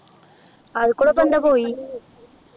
അതിക്കൂടെ ഇപ്പൊ എന്തോ പോയി